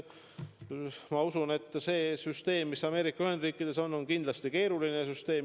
Ma usun, et süsteem, mis Ameerika Ühendriikides on, on kindlasti keeruline süsteem.